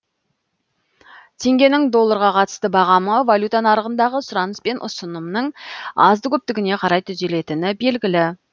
теңгенің долларға қатысты бағамы валюта нарығындағы сұраныс пен ұсынымның азды көптігіне қарай түзелетіні белгілі